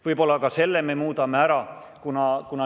Võib-olla me muudame ka selle ära?